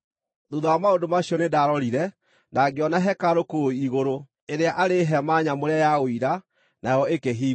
Thuutha wa maũndũ macio nĩndarorire, na ngĩona hekarũ kũu igũrũ, ĩrĩa arĩ hema nyamũre ya Ũira, nayo ikĩhingũrwo.